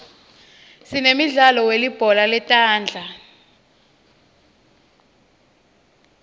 sinemidlalo welibhola letandla